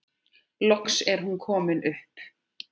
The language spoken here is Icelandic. Loks er hún komin upp.